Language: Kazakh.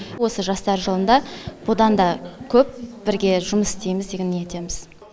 осы жастар жылында бұдан да көп бірге жұмыс істейміз деген ниеттеміз